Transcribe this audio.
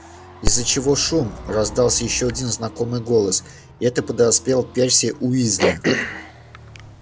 из-за чего шум раздался ещё один знакомый голос это подоспел перси уизли